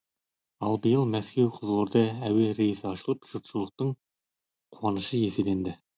ал биыл мәскеу қызылорда әйе рейсі ашылып жұртшылықтың қуанышы еселенді